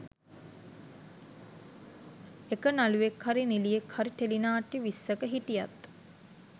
එක නළුවෙක් හරි නිලියෙක් හරි ටෙලිනාට්‍ය විස්සක හිටියත්